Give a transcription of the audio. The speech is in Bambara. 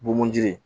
Bomunji